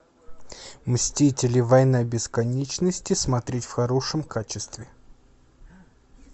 мстители война бесконечности смотреть в хорошем качестве